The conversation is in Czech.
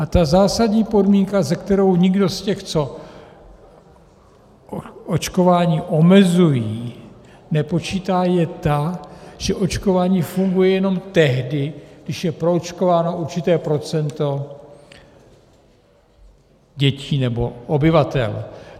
A ta zásadní podmínka, se kterou nikdo z těch, co očkování omezují, nepočítá, je ta, že očkování funguje jenom tehdy, když je proočkováno určité procento dětí nebo obyvatel.